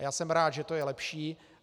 A já jsem rád, že to je lepší.